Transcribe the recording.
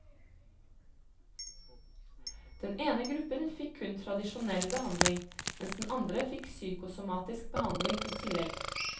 Den ene gruppen fikk kun tradisjonell behandling, mens den andre fikk psykosomatisk behandling i tillegg.